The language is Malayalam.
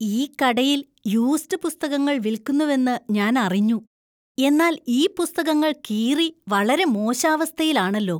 ഈ കടയിൽ യൂസ്ഡ് പുസ്തകങ്ങൾ വിൽക്കുന്നുവെന്നു ഞാനറിഞ്ഞു. എന്നാൽ ഈ പുസ്തകങ്ങൾ കീറി വളരെ മോശാവസ്ഥയിലാണല്ലോ.